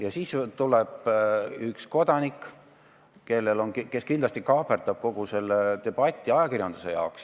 Ja siis tuleb üks kodanik, kes kindlasti kaaperdab kogu selle debati ajakirjanduse jaoks.